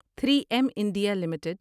three M India limited